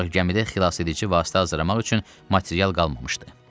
Ancaq gəmidə xilasedici vasitə hazırlamaq üçün material qalmamışdı.